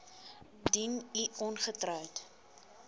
indien u ongetroud